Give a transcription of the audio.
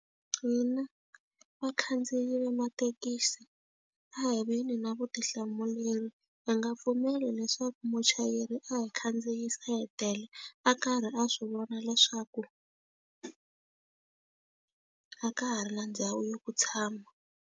Hina vakhandziyi va mathekisi a hi ve ni na vutihlamuleri. Hi nga pfumeli leswaku muchayeri a hi khandziyisa hi tele, a karhi a swi vona leswaku a ka ha ri na ndhawu yo tshama.